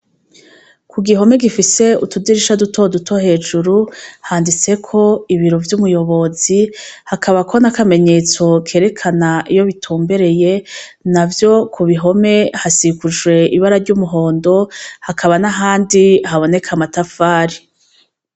Ku gihome gifise utudirisha dutoduto hejuru handitseko ibiro vy'umuyobozi hakabako n'akamenyetso kerekana iyo bitumbereye navyo Ku bihome hasikujwe ibara ry'umuhondo hakaba n'ahandi haboneka amatafari.